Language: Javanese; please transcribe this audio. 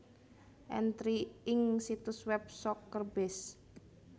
Entri ing situs web SoccerBase